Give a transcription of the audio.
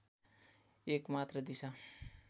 एक मात्र दिशा